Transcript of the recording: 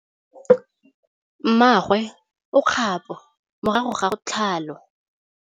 Mmagwe o kgapô morago ga tlhalô.